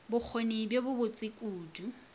bokgoni bjo bo botse kudu